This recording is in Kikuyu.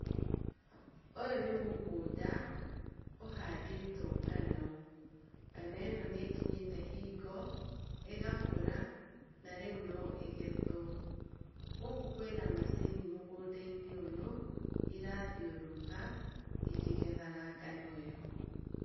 Ũyũ nĩ mũgũnda ũhandĩtwo ngano. Ngano ĩno nĩ ĩkinyĩte hingo ĩgakũra, na rĩu no ĩgethwo. Gũkũ kwĩna macini mũgũnda-inĩ ũyũ, ĩrathiũrũrũka ikĩgethaga ngano ĩno.